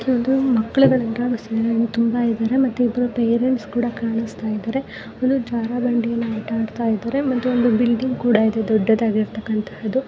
ತುಂಬಾ ಇದಾರೆ ಮತ್ತು ಇಬ್ರು ಪೇರೆಂಟ್ಸ್ ಕೂಡ ಕಾಣಸ್ತಾ ಇದಾರೆ. ಒಂದು ಜಾರಬಂಡಿಯನ್ನ ಆಟ ಅಡ್ತ ಇದಾರೆ ಮತ್ತು ಒಂದು ಬಿಲ್ಡಿಂಗ್ ಕೂಡ ಇದೆ ದೊಡ್ಡದ್ ಆಗಿರ್ತಕ್ಕಂಥದ್ದು.